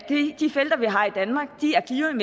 de felter vi har i danmark